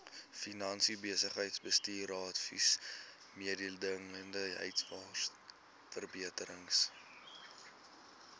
finansies besigheidsbestuursadvies mededingendheidsverbeteringsteun